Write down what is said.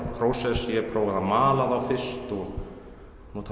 prósess ég prófaði að mala þá fyrst og nota